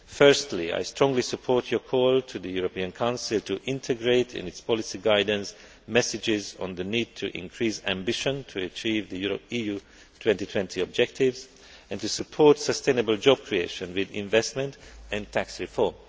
Firstly I strongly support your call to the European Council to integrate, in its policy guidance, messages on the need to increase ambition to achieve the EU2020 objectives and to support sustainable job creation with investment and tax reform.